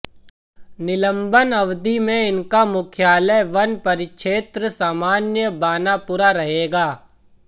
निलंबन अवधि में इनका मुख्यालय वन परिक्षेत्र सामान्य बानापुरा रहेगा